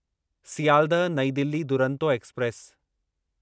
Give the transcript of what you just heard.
सियालदह नईं दिल्ली दुरंतो एक्सप्रेस